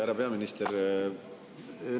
Härra peaminister!